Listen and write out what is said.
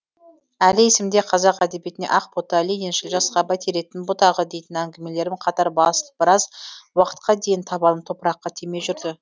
әлі есімде қазақ әдебиетіне ақ бота лениншіл жасқа бәйтеректің бұтағы дейтін әңгімелерім қатар басылып біраз уақытқа дейін табаным топыраққа тимей жүрді